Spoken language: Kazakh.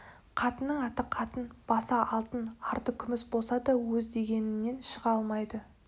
қатынның аты қатын басы алтын арты күміс болса да өз дегенінен шыға алмайды